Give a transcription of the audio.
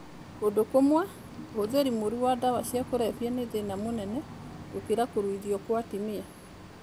Kũndũ kũmwe, ũhũthĩri mũũru wa ndawa cia kũrebia nĩ thĩna mũnene gũkĩra Kũruithio kwa Atumia (FGM).